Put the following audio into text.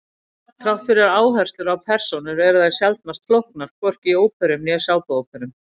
Þrátt fyrir áherslu á persónur eru þær sjaldnast flóknar, hvorki í óperum né sápuóperum.